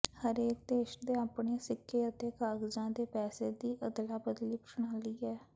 ਹਰੇਕ ਦੇਸ਼ ਦੇ ਆਪਣੇ ਸਿੱਕੇ ਅਤੇ ਕਾਗਜ਼ਾਂ ਦੇ ਪੈਸੇ ਦੀ ਅਦਲਾ ਬਦਲੀ ਪ੍ਰਣਾਲੀ ਹੈ